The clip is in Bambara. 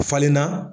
Falenna